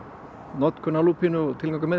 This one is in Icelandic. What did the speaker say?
notkun á lúpínu og tilgangur með